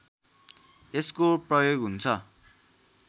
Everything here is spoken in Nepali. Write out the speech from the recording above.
यसको प्रयोग हुन्छ